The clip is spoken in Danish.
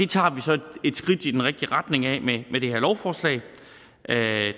tager vi så et skridt i den rigtige retning med det her lovforslag